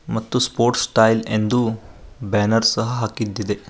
ಮತ್ತು sports style ಎಂದು banner ಸಹ ಹಾಕಿದ್ದಿದೆ.